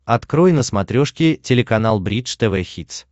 открой на смотрешке телеканал бридж тв хитс